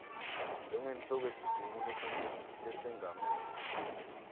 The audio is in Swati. njengenhloko yesigungu lesengamele